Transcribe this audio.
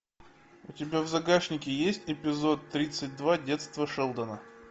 у тебя в загашнике есть эпизод тридцать два детство шелдона